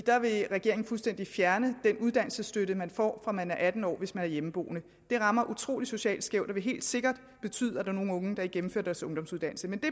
regeringen fuldstændig vil fjerne den uddannelsesstøtte man får fra man er atten år hvis man er hjemmeboende det rammer utrolig socialt skævt og vil helt sikkert betyde at der er nogle unge der ikke gennemfører deres ungdomsuddannelse men det